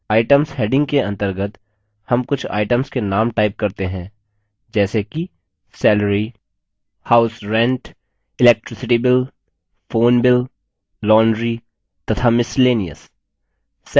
items heading के अंतर्गत names कुछ items के names type करते हैं जैसे कि salary house rent electricity bill phone bill laundry तथा miscellaneous